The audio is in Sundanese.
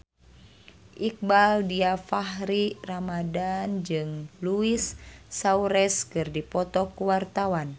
Iqbaal Dhiafakhri Ramadhan jeung Luis Suarez keur dipoto ku wartawan